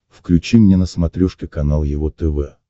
включи мне на смотрешке канал его тв